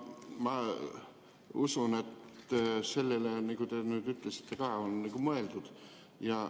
Ma usun, et sellele, nagu te nüüd ütlesite, on mõeldud.